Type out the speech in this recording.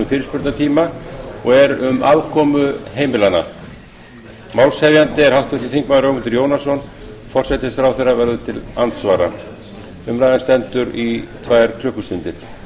fyrirspurnatíma og er um afkomu heimilanna málshefjandi er háttvirtur þingmaður ögmundur jónsson forsætisráðherra verður til andsvara umræðan stendur í tvær klukkustundir